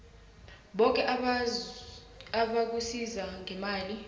boke abakusiza ngemali